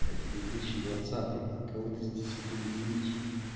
это две тысячи двадцатый кого ты здесь этим удивишь